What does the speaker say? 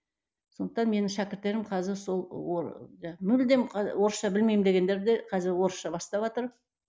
сондықтан менің шәкірттерім қазір сол мүлдем орысша білмеймін дегендер де қазір орысша баставатыр